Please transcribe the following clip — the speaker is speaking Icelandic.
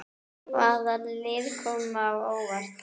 Hvaða lið koma á óvart?